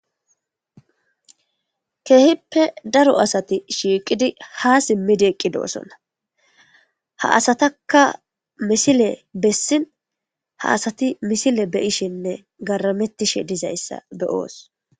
Keehippe daro asati shiiqidi ha simmidi eqqidoosona ha asataka misile bessin ha asati misile beyishinne garamettishe dizayssa beyoos.